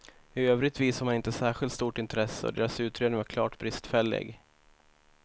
I övrigt visade man inte särskilt stort intresse och deras utredning var klart bristfällig.